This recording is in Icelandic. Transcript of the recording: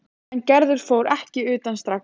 En Gerður fór ekki utan strax.